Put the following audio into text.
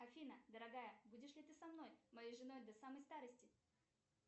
афина дорогая будешь ли ты со мной моей женой до самой старости